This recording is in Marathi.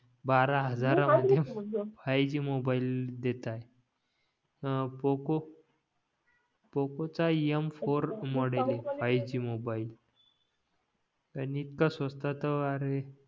बारा हजार मध्ये फाय जी मोबाईल देतायत अं पोकॉ पोकॉ चा M four model five G mobile आणि इतका स्वस्ता तर अरे